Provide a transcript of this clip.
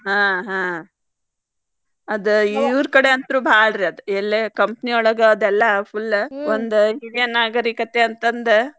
ಹಾ ಹಾ ಅದ್ ಇವ್ರ್ ಕಡೆ ಅಂತೂ ಬಾಳ್ರಿ ಎಲ್ಲೇ company ಒಳಗಾದೆಲ್ಲಾ full ಒಂದ್ ಹಿರಿಯ ನಾಗರಿಕತೆ ಅಂತಂದ್.